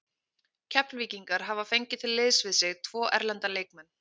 Keflvíkingar hafa fengið til liðs við sig tvo erlenda leikmenn.